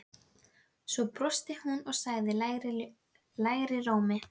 Svo brosti hún og sagði lægri rómi